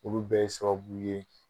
Olu bɛ ye sababu ye